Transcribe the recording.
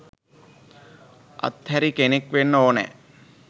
අත් හැරි කෙනෙක් වෙන්න ඕනැ.